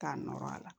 K'a nɔɔrɔ a la